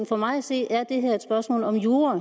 for mig at se er det her et spørgsmål om jura